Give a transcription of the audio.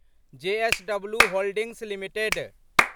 JSW holdings limited